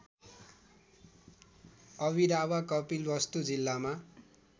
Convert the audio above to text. अभिरावा कपिलवस्तु जिल्लामा